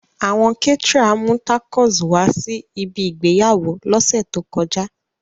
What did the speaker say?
Awọn caterer mu tacos wa si ibi igbeyawo lose to koja.